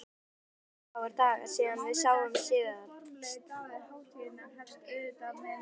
Það eru aðeins örfáir dagar síðan við sáumst síðast.